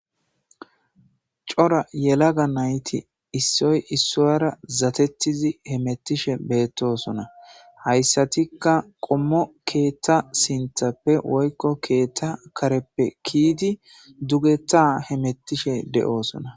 C'ora yelaga nayti isoy isuwara zatetizi hemetishe betosona haysatikka qomo katha sintanppe woyko ketha kareppe kiyidi dugeta hemetishe de'osona.